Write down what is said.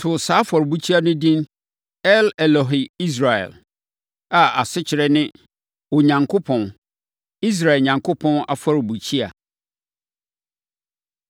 Wɔsii afɔrebukyia wɔ hɔ, too saa afɔrebukyia no edin El-Elohe-Israel, a asekyerɛ ne Onyankopɔn, Israel Onyankopɔn Afɔrebukyia.